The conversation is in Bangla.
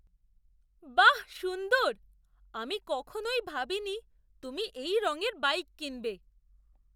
বাহ, সুন্দর! আমি কখনোই ভাবিনি তুমি এই রঙের বাইক কিনবে।